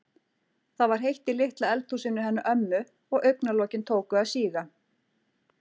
Það var heitt í litla eldhúsinu hennar ömmu og augna- lokin tóku að síga.